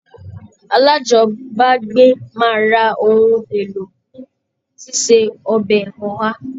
Alájọbágbé máa ra ohun èlò fún síse ọbẹ̀ Oha